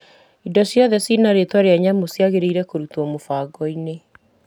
Irio ciothe cina rĩtwa nyũmũ ciagĩrĩire kũrutwo mũbango-inĩ .